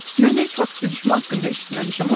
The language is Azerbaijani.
Mən heç vaxt sürüşmə haqqında eşitməmişəm.